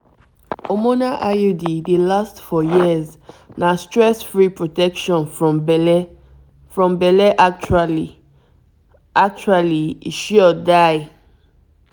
hormonal iud dey last for years na stress-free protection from belle. from belle. actually actually e sure die!